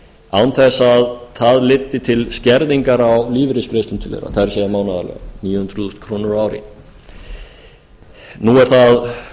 án þess að það leiddi til skerðingar á lífeyrisgreiðslum til þeirra það er mánaðarlega níu hundruð þúsund krónur á ári nú er